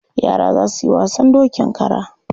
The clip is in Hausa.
Yara za su yi wasan dokin kara.